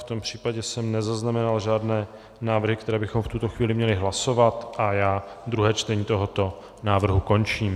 V tom případě, jsem nezaznamenal žádné návrhy, které bychom v tuto chvíli měli hlasovat, a já druhé čtení tohoto návrhu končím.